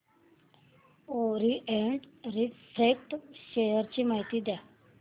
Orient refract share ची माहिती द्या